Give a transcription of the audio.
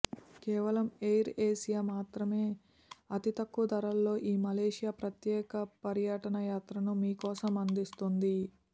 కేవలం Air Asia మాత్రమే అతి తక్కువ ధరల్లో ఈ మలేసియా ప్రత్యేక పర్యాటక యాత్రను మీకోసం అందిస్తోంది